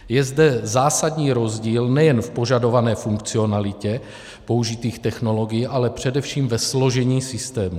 Je zde zásadní rozdíl nejen v požadované funkcionalitě použitých technologií, ale především ve složení systému.